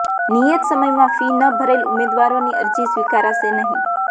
નિયત સમયમાં ફી ન ભરેલ ઉમેદવારોની અરજી સ્વીકારાશે નહીં